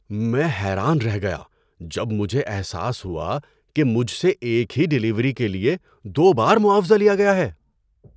میں حیران رہ گیا جب مجھے احساس ہوا کہ مجھ سے ایک ہی ڈیلیوری کے لیے دو بار معاوضہ لیا گیا ہے!